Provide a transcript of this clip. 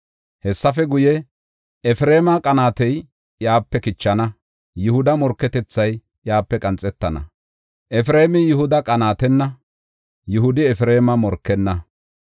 Hessafe guye, Efreema qanaatey iyape kichana; Yihuda morketethay iyape qanxetana. Efreemi Yihuda qanaatenna; Yihudi Efreema morkenna.